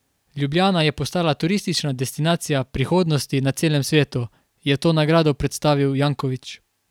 Ljubljana je postala turistična destinacija prihodnosti na celem svetu, je to nagrado predstavil Janković.